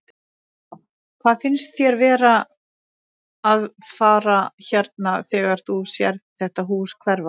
Þóra: Hvað finnst þér vera að fara hérna þegar þú sérð þetta hús hverfa?